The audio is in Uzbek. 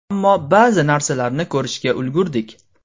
Ammo ba’zi narsalarni ko‘rishga ulgurdik.